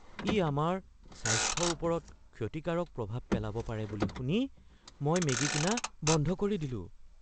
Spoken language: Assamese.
ই আমাৰ স্বাস্থ্যৰ ওপৰত ক্ষতিকাৰক প্ৰভাৱ পেলাব পাৰে বুলি শুনি মই মেগি কিনা বন্ধ কৰি দিলোঁ।